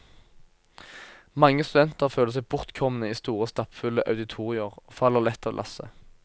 Mange studenter føler seg bortkomne i store og stappfulle auditorier, og faller lett av lasset.